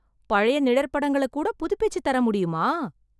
பழைய நிழற்படங்கள கூட புதுப்பிச்சுத் தர முடியுமா?